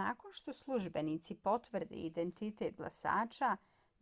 nakon što službenici potvrde identitet glasača